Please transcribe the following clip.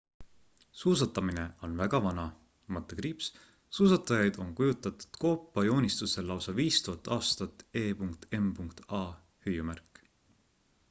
suusatamine on väga vana – suusatajaid on kujutatud koopajoonistustel lausa 5000 aastat e.m.a!